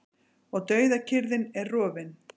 Og dauðakyrrðin er rofin.